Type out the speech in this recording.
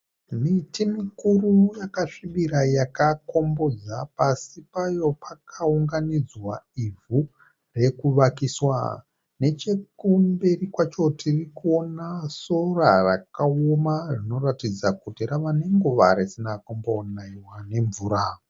Miti mikuru yakasvibira yakakombodzwa, pasi payo pakaunganidzwa ivhu rekuvakiswa. Nechekumberi kwacho tirikuona sora rakaoma ririkuratidza kuti rava nenguva risina kumbonaiwa nemvura .